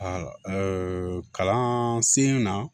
kalan sen na